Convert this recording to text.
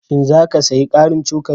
Shin za ka sayi ƙarin cokali?